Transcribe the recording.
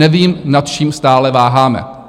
Nevím, nad čím stále váháme.